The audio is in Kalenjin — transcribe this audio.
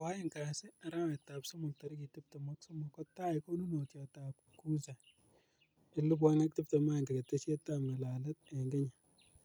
Koaeng' kasi, arawet ap somok tarik 23, kotaai konunotayat ap Kuza 2021 ketesyet ap ng'alalet ing' kenya.